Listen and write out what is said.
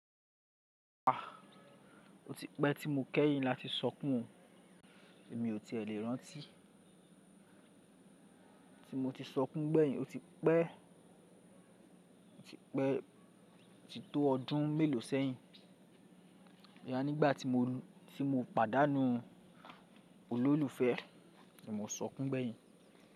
Ah! O ti pẹ́ tí mo kẹ́yìn láti sọkún, èmi ò tí è lè rántí. Ti mo ti sọkún gbẹ́yìn, o ti pẹ́, o ti pẹ́ ti tó ọdún mélòó sẹ́yìn. Bo ya nígbà tí mo, tí mo pàdánù olólùfẹ́, ni mo sọkún gbẹ́yìn.